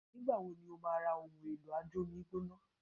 Nígbà wo ni ó máa ra ohun èlò ajómi gbóná.?